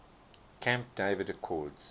camp david accords